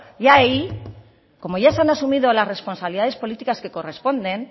y ahí como ya se han asumido las responsabilidades políticas que corresponden